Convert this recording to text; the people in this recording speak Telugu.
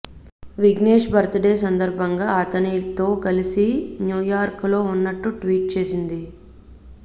విఘ్నేష్ బర్త్ డే సందర్బంగా అతనితో కలసి న్యూయార్క్ లో ఉన్నట్టు ట్వీట్ చేసింది